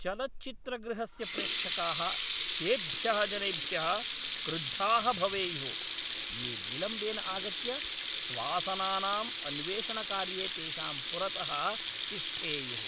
चलच्चित्रगृहस्य प्रेक्षकाः तेभ्यः जनेभ्यः क्रुद्धाः भवेयुः ये विलम्बेन आगत्य स्वासनानाम् अन्वेषणकार्ये तेषां पुरतः तिष्ठेयुः।